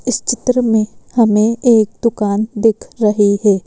इस चित्र में हमें एक दुकान दिख रहे है।